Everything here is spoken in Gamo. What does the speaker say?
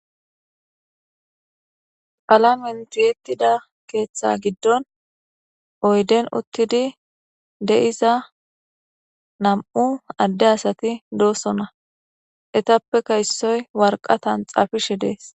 Alamentiyettida keeththa giddon oyden uttidi de'iza nam'u adde asati doosona etappeka issoy warqatan xafishe dees.